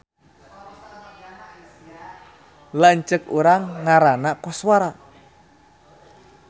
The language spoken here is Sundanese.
Lanceuk urang ngaranna Koswara